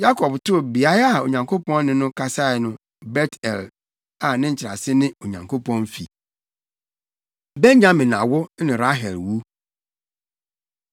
Yakob too beae a Onyankopɔn ne no kasae no Bet-El, a ne nkyerɛase ne Onyankopɔn fi. Benyamin Awo Ne Rahel Wu